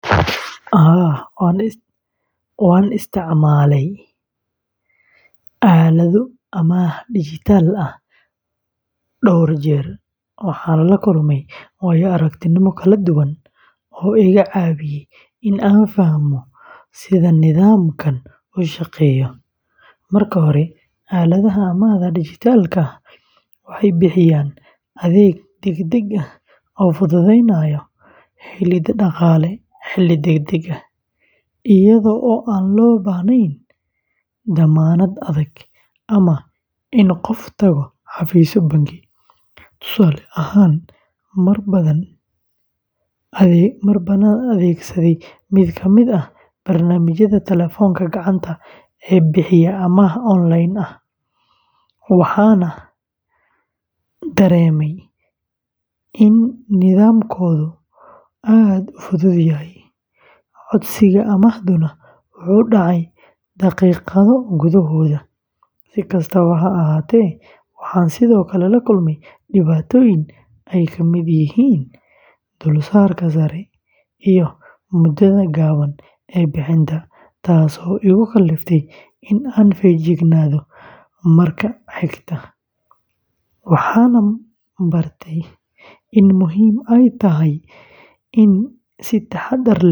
Haa, waan isticmaashay aalado amaah dijitaal ah dhowr jeer, waxaana la kulmay waayo-aragnimooyin kala duwan oo iga caawiyay in aan fahmo sida nidaamkan u shaqeeyo. Marka hore, aaladaha amaahda dijitaalka ah waxay bixiyaan adeeg degdeg ah oo fududeynaya helidda dhaqaale xilli degdeg ah, iyada oo aan loo baahnayn dammaanad adag ama in qofku tago xafiisyo bangi. Tusaale ahaan, mar baan adeegsaday mid ka mid ah barnaamijyada telefoonka gacanta ee bixiya amaah onlineka ah, waxaana dareemay in nidaamkoodu aad u fudud yahay, codsiga amaahduna wuxuu dhacay daqiiqado gudahood. Si kastaba ha ahaatee, waxaan sidoo kale la kulmay dhibaatooyin ay ka mid yihiin dulsaarka sare iyo muddada gaaban ee bixinta, taasoo igu kalliftay in aan feejignaado marka xiga. Waxaan baray in muhiim ay tahay in si taxaddar leh.